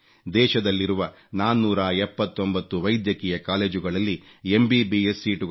ದೇಶದಲ್ಲಿರುವ 479 ವೈದ್ಯಕೀಯ ಕಾಲೇಜುಗಳಲ್ಲಿ ಎಂಬಿಬಿಎಸ್ ಸೀಟುಗಳ